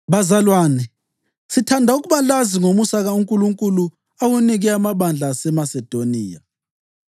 Bazalwane, sithanda ukuba lazi ngomusa uNkulunkulu awunike amabandla aseMasedoniya.